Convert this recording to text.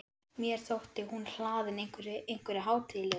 Mér þótti hún hlaðin einhverju- einhverju hátíðlegu.